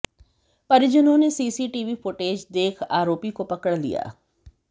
परिजनों ने CCTV footage देख आरोपी को पकड़ लिया